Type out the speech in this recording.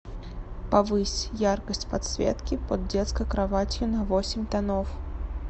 повысь яркость подсветки под детской кроватью на восемь тонов